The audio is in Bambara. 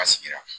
A sigira